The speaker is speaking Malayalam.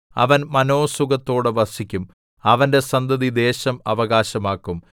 അവൻ മനോസുഖത്തോടെ വസിക്കും അവന്റെ സന്തതി ദേശം അവകാശമാക്കും